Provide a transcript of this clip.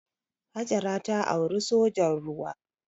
Hajara ta auri sojan ruwa.